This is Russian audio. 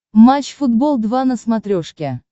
матч футбол два на смотрешке